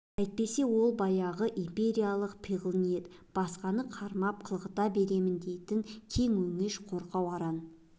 әйтпесе сол баяғы империялық пиғыл ниет басқаны қармап қылғыта берсем дейтін кең өңеш қорқау аран